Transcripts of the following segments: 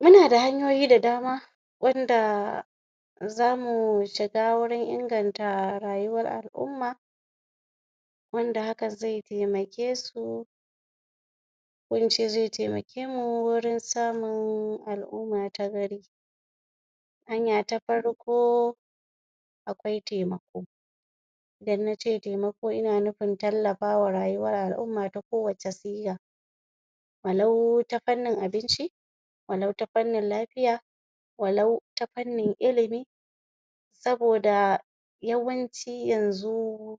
muna da hanyoyi da dama wanda zamu shiga gurin inganta rayuwar al'uma wanda hakan zai taimakesu ko ince zai taimakemu gurin samun al'umma ta gari hanya ta farko akwai taimako idan nace taimako ina nufin tallafawa rayuwar al'umma ta ko wacce shiga walau ta fannin abinci walau ta fannin lafiya walau ta fannin ilimi saboda yawanci yanzu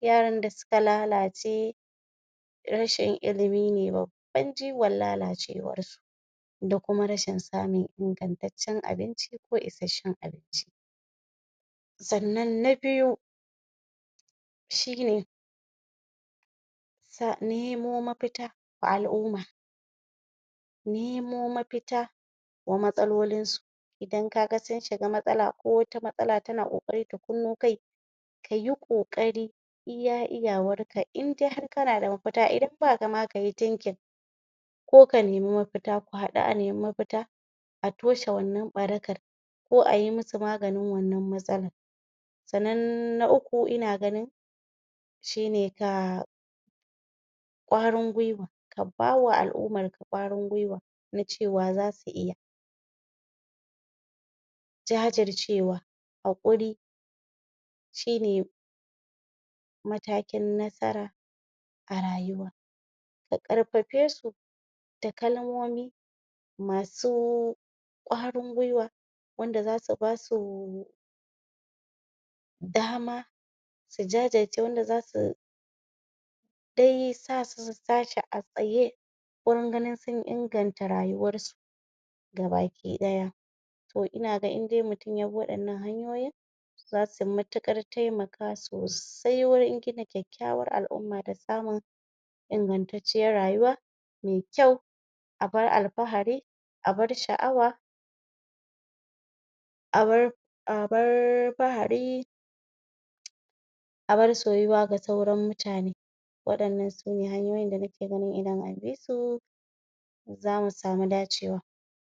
yaran da suka lalace rashin ilimi ne babban jigon lalace warsu da kuma rashin samun ingantatcan abinci ko ishasshan abinci sannan na biyu shine ka nemo mafita ga al'uma nemo mafita wa matsalolinsu idan kaga sun shiga matsala ko wata matsala tana ƙoƙari ta kunno kai kayi ƙoƙari iya iyawarka indai har kana da mafita idan ma baka da kayi kayi thinking kana da mafita ko ka neme mafita ko haɗu a neme mafita a toshe wannan ɓarakar ko ayi musu maganan wannan matsalar sannan na uku ina ganin shine ka ƙwarin gwiwa ka bawa al'umarka ƙwarin gwiwa na cewa xasu iya jajircewa hakuri shine matakin nasara a rayuwa ka karfafe su da kalmomi masu ƙwarin gwiwa wanda zasu basu dama su jajirce wanda zasu dai sasu sutashi a tsaye gurin ganin sun inganta rayuwarsu gaba ki ɗaya to ina ga indai mutum yabi waɗannan hanyoyin zasu mutuƙar taimaka sosai gurin gina kyakyawar al'uma da samun ingantatciyar rayuwa me kyau abar alfahari abar sha'awa abar fahari abar soyewa ga sauran mutane waɗannan sune hanyoyin da nake gani idan anbi su